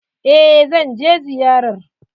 Eh zan je ziyarar.